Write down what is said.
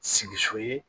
Sigi so ye